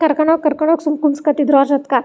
ಕರ್ಕೊನ್ ಹೋಗ್ ಕರ್ಕೊನ್ ಹೋಗ್ ಸುಮ್ಮನೆ ಕುನ್ಸ್ ಕೋತಿದ್ರು ಅವ್ರ ಜೊತೆಗ್.